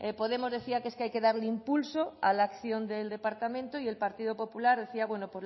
podemos decía que es que hay que darle impulso a la acción del departamento y el partido popular decía bueno